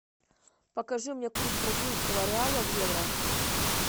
покажи мне курс бразильского реала в евро